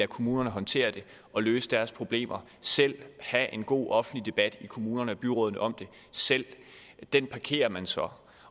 kommunerne håndtere det og løse deres problemer selv har en god offentlig debat i kommunerne og byrådene om det selv den parkerer man så